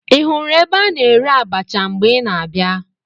Ị hụrụ ebe a na-ere abacha mgbe ị na-abịa?